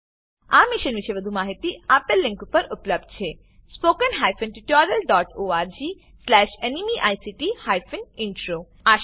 આ મિશન પર વધુ માહિતી spoken hyphen tutorial dot org slash NMEICT hyphen intro આ લીંક પર ઉપલબ્ધ છે